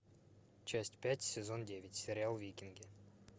часть пять сезон девять сериал викинги